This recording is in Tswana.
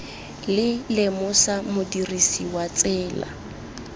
le lemosa modirisi wa tsela